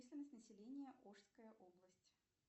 численность населения ошская область